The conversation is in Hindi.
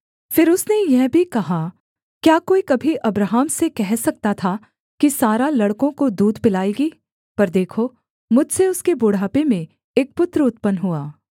फिर उसने यह भी कहा क्या कोई कभी अब्राहम से कह सकता था कि सारा लड़कों को दूध पिलाएगी पर देखो मुझसे उसके बुढ़ापे में एक पुत्र उत्पन्न हुआ